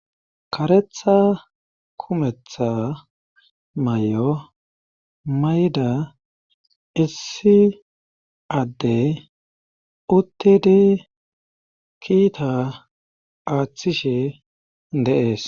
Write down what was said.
Kareththa kumeeththa may'o mayda issi addey uttidi kiita aaththishi de'ees